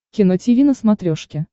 кино тиви на смотрешке